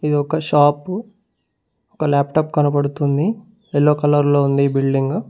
ఇది ఒక షాపు ఒక లాప్టాప్ కనబడుతుంది ఎల్లో కలర్ లో ఉంది ఈ బిల్డింగు .